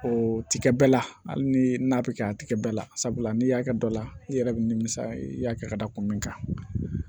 O ti kɛ bɛɛ la hali ni n'a bɛ kɛ a tɛ kɛ bɛɛ la sabula n'i y'a kɛ dɔ la i yɛrɛ bɛ nimisa i y'a kɛ ka da kun min kan